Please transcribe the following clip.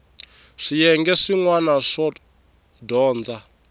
swiyenge swin wana swo dyondza